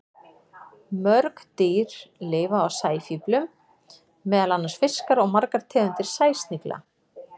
Mörg dýr lifa á sæfíflum, meðal annars fiskar og margar tegundir sæsnigla.